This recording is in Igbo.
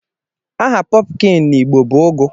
Aha " pumpkin" na igbo bu " ụgụ".